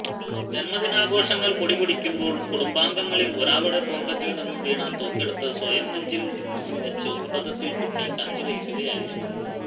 ജന്മദിനാഘോഷങ്ങൾ പൊടിപൊടിക്കുമ്പോൾ കുടുംബാംഗങ്ങളിൽ ഒരാളുടെ പോക്കറ്റിൽ നിന്നും വീണ തോക്കെടുത്ത് സ്വയം നെഞ്ചിൽ വച്ചു അബദ്ധത്തിൽ കുട്ടി കാഞ്ചിവലിക്കുകയായിരുന്നു